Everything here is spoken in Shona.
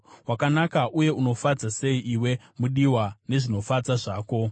Wakanaka uye unofadza sei, iwe mudiwa nezvinofadza zvako!